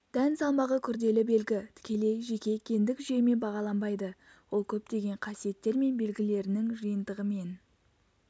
дән салмағы күрделі белгі тікелей жеке гендік жүйемен бағаланбайды ол көптеген қасиеттер мен белгілерінің жиынтығымен